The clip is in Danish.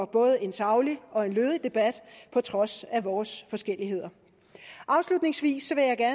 både en saglig og lødig debat på trods af vores forskelligheder afslutningsvis